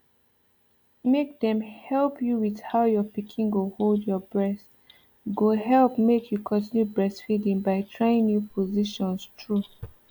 make dem help you with how your pikin go hold your breast go help make you continue breastfeeding by trying new positions true